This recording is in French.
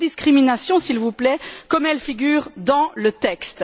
pas de discriminations, s'il vous plaît, comme elles figurent dans le texte.